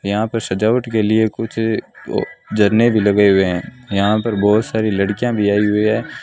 यहां पर सजावट के लिए कुछ अह झरने भी लगे हुए हैं यहां पर बहुत सारी लड़कियां भी आई हुई है।